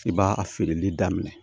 I b'a a feereli daminɛ